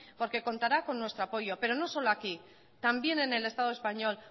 porque contará con nuestro apoyo pero no solo aquí también en el estado español